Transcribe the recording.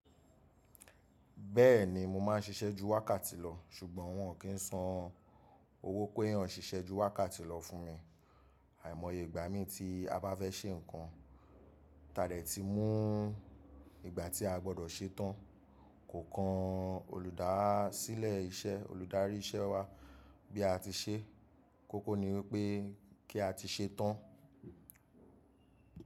Bẹ́ẹ̀ni mo máa ń ṣiṣẹ́ ju wákàtí lọ ṣùgbọ́n wọn kì í san owó péyàn ṣiṣẹ́ ju wákàtí lọ fún mi. Àìmọye ìgbà mi tí a bá fẹ́ ṣe nǹkan táa dẹ̀ ti mú ìgbà tí a gbọdọ̀ ṣe tán, kò kan olùdásílẹ̀ iṣẹ́, olùdarí iṣẹ́ wa bí a ti ṣe. Kókó ni wípé kí a ti ṣe tán.